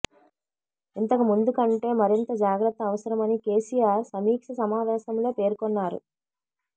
ఇంతకుముందు కంటే మరింత జాగ్రత్త అవసరమని కేసీఆర్ సమీక్ష సమావేశంలో పేర్కొన్నారు